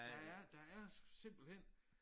Der er der er simpelthen